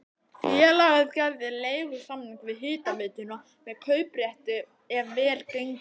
Félagið gerði leigusamning við hitaveituna með kauprétti ef vel gengi.